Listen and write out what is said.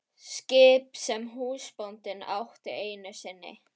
Skip sem húsbóndinn átti einu sinni.